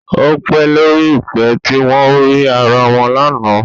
Ó pe lórí ìpè tí wọn ò rí ara wọn lánàá